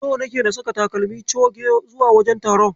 So nake na saka takalmi coge zuwa wajen taron.